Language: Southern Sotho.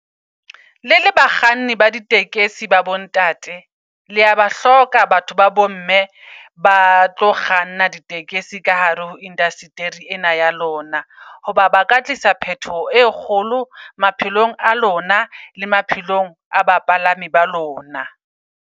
Le le bakganni ba ditekesi ba bo ntate lea ba hloka batho ba bo, mme ba tlo kganna di tekesi ka hare ho industry-e ena ya lona. Hoba ba ka tlisa phetoho e kgolo maphelong a lona le maphelong a bapalami ba lona.